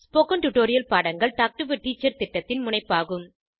spoken tutorial பாடங்கள் talk to a teacher திட்டத்தின் முனைப்பாகும்